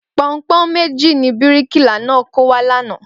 Pọnpọ́n méjì ni bíríkìlà náà kó wá lánàá